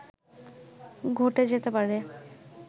ঘটে যেতে পারে